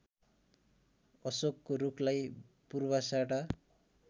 अशोकको रूखलाई पूर्वाषाढा